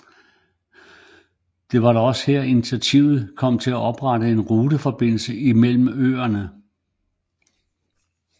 Det var da også her initiativet kom til at oprette en ruteforbindelse imellem øerne